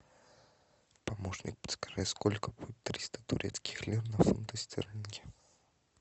помощник подскажи сколько будет триста турецких лир на фунты стерлинги